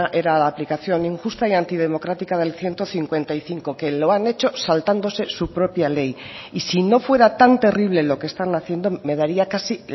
era a la aplicación injusta y antidemocrática del ciento cincuenta y cinco que lo han hecho saltándose su propia ley y si no fuera tan terrible lo que están haciendo me daría casi